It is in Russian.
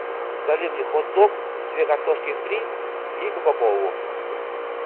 закажи мне хот дог две картошки фри и кока колу